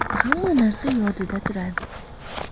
Hamma narsa yodida turadi.